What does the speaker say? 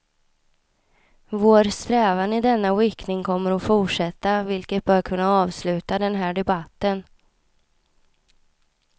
Vår strävan i denna riktning kommer att fortsätta vilket bör kunna avsluta den här debatten.